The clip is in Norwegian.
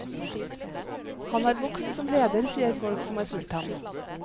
Han har vokst som leder, sier folk som har fulgt ham.